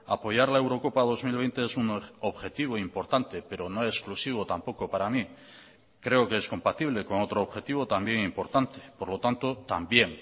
apoyar la eurocopa dos mil veinte es un objetivo importante pero no exclusivo tampoco para mí creo que es compatible con otro objetivo también importante por lo tanto también